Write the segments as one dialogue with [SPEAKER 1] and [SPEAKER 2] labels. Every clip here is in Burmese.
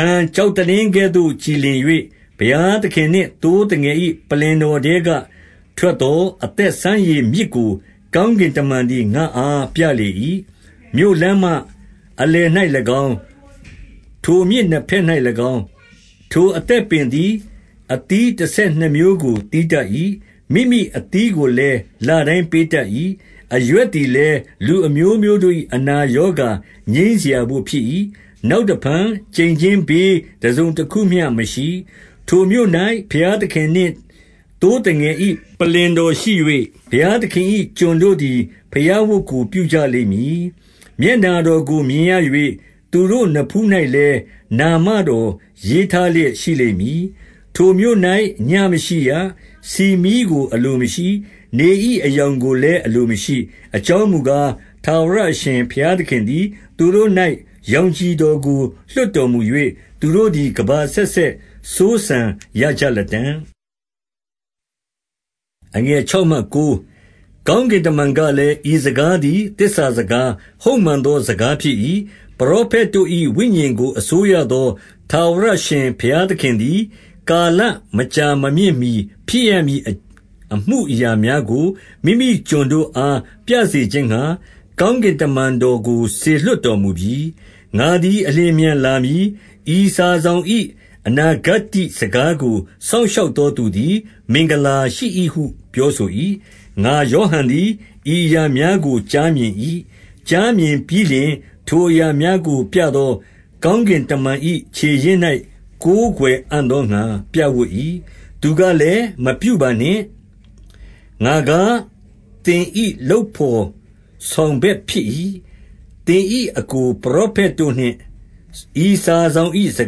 [SPEAKER 1] န် ၊ ကျောက်သလင်းကဲ့သို့ကြည်လင်၍၊ ဘုရားသခင်နှင့် သိုးသငယ်၏ ပလ္လင်တော်ထဲက ထွက် သော၊ အသက်ရေစီးရာမြစ်ကို ကောင်းကင်တမန်သည် ငါ့အား ပြလေ၏။ 2 မြို့လမ်းမအလယ်၌၎င်း၊ ထိုမြစ်နှစ်ဘက်၌၎င်း၊ အသက်ပင်ရှိ၏။ ထိုအသက်ပင်သည် အသီးတဆယ် နှစ်မျိုးကို သီးတတ်၏။ မိမိအသီးကိုလည်း လတိုင်းပေ တတ်၏။ အရွက်သည်လည်းလူအမျိုးမျိုး တို့၏ အနာ ရောဂါငြိမ်းစရာတို့ဖြစ်၏။ 3 နောက်တဖန် ကျိန်ခြင်းဘေးတစုံတခုမျှမရှိ။ ထိုမြို့၌ ဘုရားသခင် နှင့် သိုးသငယ်၏ ပလ္လင်တော်ရှိ၍ ဘုရားသခင်၏ ကျွန်တို့ သည် ဘုရားဝတ်ကို ပြုကြ လိမ့်မည်။ 4 မျက်နှာတော်ကိုမြင်ရ၍ သူတို့နဖူး၌လည်း နာမတော်ရေးထား လျက်ရှိလိမ့်မည်။ 5 ထိုမြို့၌ညဉ့်မရှိရ ၊ ဆီမီးကိုအလိုမရှိ။ နေ၏ အရောင်ကိုလည်း အလိုမရှိ။ အကြောင်းမူကား ၊ ထာဝရ အရှင်ဘုရားသခင်သည် သူတို့၌ ရောင်ခြည်တော်ကို လွှတ်တော်မူ၍ သူတို့သည် ကမ္ဘာအဆက်ဆက် စိုးစံရ ကြလတံ့။ 6 ကောင်းကင်တမန်ကလည်း၊ ဤစကားသည် သစ္စာစကား၊ ဟုတ်မှန်သော စကားဖြစ်၏။ ပရောဖက် တို့၏ ဝိညာဉ်ကို အစိုးရသော ထာဝရအရှင်ဘုရားသခင် သည်၊ ကာလမကြာမမြင့်မှီဖြစ်ရမည် အမှုအရာများကို မိမိကျွန်တို့အား ပြစေခြင်းငှါ၊ ကောင်းကင်းကင်တမန် တော်ကို စေလွှတ်တော်မူပြီ။ 7 ငါသည်အလျင်အမြန်လာမည်။ ဤစာစောင်၏ အနာဂတ္တိ စကားကိုစောင့်ရှောက်သောသူသည် မင်္ဂလာ ရှိ၏ဟု ပြောဆို၏။ 8 ငါယောဟန်သည် ဤအရာများကို ကြားမြင်၏။ ကြားမြင်ပြီးလျှင်၊ ထိုအရာများကို ပြသော ကောင်းကင် တမန်၏ ခြေရင်း၌ကိုးကွယ်အံ့သောငှါ ပြပ်ဝပ်၏။ 9 သူကလည်း၊ မပြုပါနှင့်။ ငါကား၊ သင်၏ လုပ်ဘော်ဆောင်ဘက်ဖြစ်၏။ သင်၏ အစ်ကို ပရောဖက် တို့နှင့်ဤစာစောင်၏ စ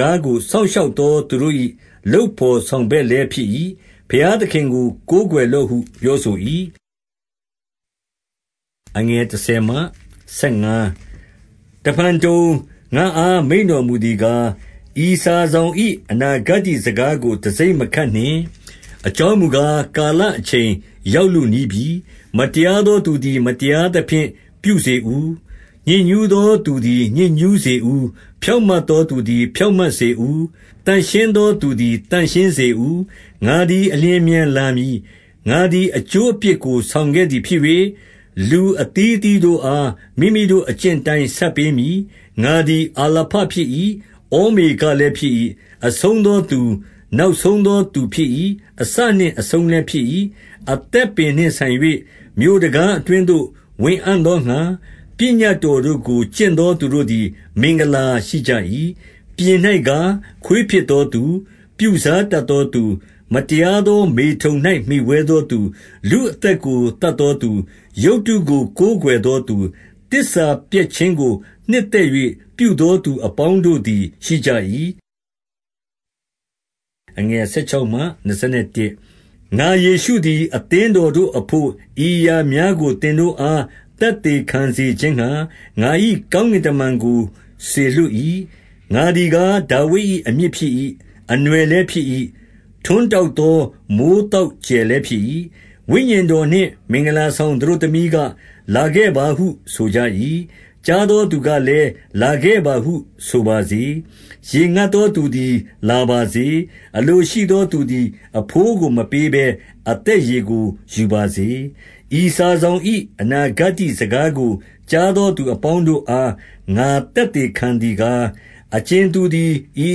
[SPEAKER 1] ကားကို စောင့်ရှောက်သော သူတို့၏ လုပ်ဘော်ဆောင်ဘက်လည်း ဖြစ်၏။ ဘုရား သခင်ကိုကိုးကွယ်လော့ဟုပြောဆို၏။ 10 တဖန်ဘုံ ၊ ငါ့အားမိန့်တော်မူသည်ကား၊ ဤစာ စောင်၏ အနာဂတ္တိစကားကို တံဆိပ်မခတ်နှင့်။ အကြောင်းမူကား၊ ကာလအချိန် ရောက်လုနီးပြီ။ 11 မတရားသောသူကသည် မတရားသဖြင့် ပြုစေ ဦး။ ညစ်ညူးသော သူသည် ညစ်ညူးစေဦး။ ဖြောင့်မတ် သောသူသည် ဖြောင့်မတ်စေဦး။ သန့်ရှင်းသောသူသည် သန့်ရှင်းစေဦး။ 12 ငါသည်အလျင်အမြန်လာမည်။ ငါသည် အကျိုး အဖြစ်ကို ဆောင်ခဲ့သည်ဖြစ်၍၊ လူအသီးသီးတို့အား မိမိတို့အကျင့်အတိုင်း ဆပ်ပေး မည်။ 13 ငါသည် အာလဖဖြစ်၏ ဩမေဃလည်းဖြစ်၏။ အဦးဆုံးသောသူ၊ နောက်ဆုံးသော သူဖြစ်၏။ အစနှင့် အဆုံးလည်း ဖြစ်၏။ 14 အသက်ပင်နှင့်ဆိုင်၍၊ မြို့တံခါးအတွင်းသို့ ဝင်အံ့သော ငှါ ပညတ်တော်တို့ကို ကျင့်သောသူတို့သည် မင်္ဂလာရှိကြ၏။ 15 ပြင်၌ကား၊ ခွေးဖြစ်သောသူ၊ ပြုစားတတ်သော သူ ၊ မတရားသောမေထုန်၌မှီဝဲသောသူ၊ လူအသက်ကို သတ်သောသူ၊ ရုပ်ထု ကိုကိုးကွယ်သောသူ၊ သစ္စာပျက် ခြင်းကို နှစ်သက်၍ ပြုသောသူအပေါင်းတို့သည် ရှိကြ၏။ 16 ငါယေရှုသည် အသင်းတော်တို့အဘို့ ဤအရာ များကို သင်တို့အားသက်သေခံစေခြင်းငှါ၊ ငါ၏ ကောင်း ကင်တမန်ကို စေလွှတ်၏။ ငါသည်ကား၊ ဒါဝိဒ်၏ အမြစ် ဖြစ်၏။ အနွယ်လည်းဖြစ်၏။ ထွန်းတောက်သော မိုဃ်း သောက်ကြယ်လည်းဖြစ်၏။ 17 ဝိညာဉ်တော်နှင့် မင်္ဂလာဆောင် သတို့သမီးက လာခဲ့ပါဟု ဆိုကြ၏။ ကြားသောသူကလည်း၊ လာခဲ့ပါ ဟုဆိုပါစေ ၊ ရေငတ်သောသူသည် လာပါစေ။ အလိုရှိ သော သူသည် အဘိုးကိုမပေးဘဲ အသက်ရေကို ယူပါစေ။ 18 ဤစာစောင်၏ အနာဂတ္တိစကားကို ကြားသော သူအပေါင်းတို့ အားငါသက်သေခံသည်ကား၊ အကြင်သူ သည် ဤ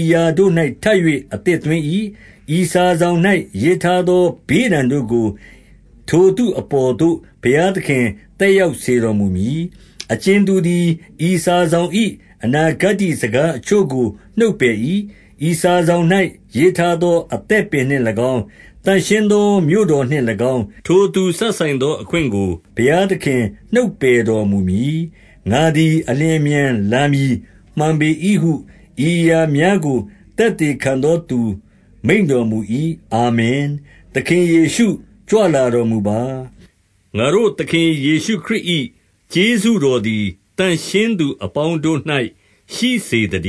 [SPEAKER 1] အရာတို့၌ထပ်၍ အသစ်သွင်း၏။ ဤစာစောင် ၌ ရေးထားသော ဘေးဒဏ်တို့ကို ထိုသူအပေါ်သို့ ဘုရားသခင် သက်ရောက်စေတော်မူမည်။ 19 အကြင်သူသည် ဤစာစောင်၏ အနာဂတ္တိ စကားအချို့ကို နှုတ်ပယ်၏။ ဤစာစောင်၌ ရေးထား သော အသက်ပင်နှင့်၎င်း၊ သန့်ရှင်းသော မြို့တော်နှင့် ၎င်း ၊ ထိုသူစပ်ဆိုင်သော အခွင့်ကိုဘုရားသခင် နှုတ်ပယ် တော်မူမည်။ 20 ငါသည် အလျင်အမြန်လာမည်မှန်ပေ၏ဟု၊ 21 ဤအရာများကို သက်သေခံသောသူ မိန့်တော် မူ၏ အာမင် ၊ သခင်ယေရှုကြွလာတော်မူပါ။ ငါတို့သခင် ယေရှုခရစ်၏ ကျေးဇူးတော်သည် သန့်ရှင်းသူ အပေါင်း တို့၌ ရှိစေသတ